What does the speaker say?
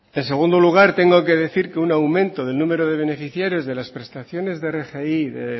en segundo lugar tengo que decir que un aumento del número de beneficiarios de las prestaciones de rgi de